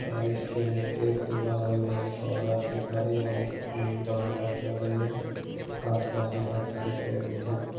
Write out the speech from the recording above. और इसके एक बगल मे एक औरत भी खड़ी है वो उम् टमाटर तोड़ रही है | आस-पास मे बहुत सारे पेड़ भी हैं ।